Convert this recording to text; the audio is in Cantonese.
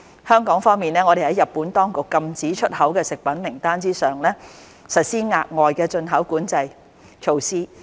香港方面，我們在日本當局禁止出口的食品名單之上，實施額外的進口管制措施。